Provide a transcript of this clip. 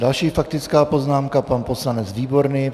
Další faktická poznámka - pan poslanec Výborný.